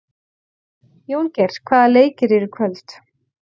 Jóngeir, hvaða leikir eru í kvöld?